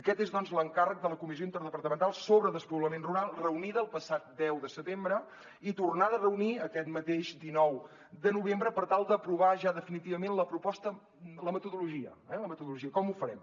aquest és doncs l’encàrrec de la comissió interdepartamental sobre despoblament rural reunida el passat deu de setembre i tornada a reunir aquest mateix dinou de novembre per tal d’aprovar ja definitivament la metodologia com ho farem